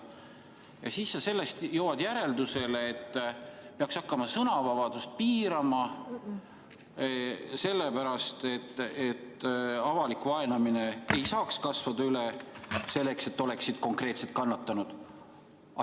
Ja siis jõudsid sa järeldusele, et peaks hakkama sõnavabadust piirama, et avalik vaenamine ei saaks kasvada üle selleks, et oleksid konkreetsed kannatanud.